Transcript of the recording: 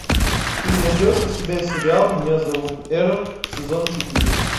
ты найдешь у себя сериал меня зовут эрл сезон четыре